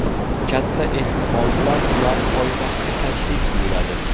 Katta ehtimol bilan ular poytaxtga tashrif buyuradi.